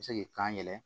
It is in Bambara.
Se k'i kan yɛlɛ